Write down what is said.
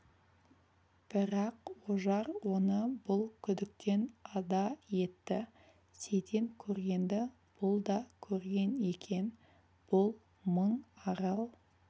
бірақ ожар оны бұл күдіктен ада етті сейтен көргенді бұл да көрген екен бұл мың арал